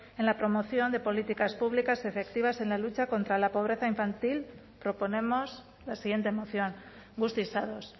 en la promoción de políticas públicas efectivas en la lucha contra la pobreza infantil proponemos la siguiente moción guztiz ados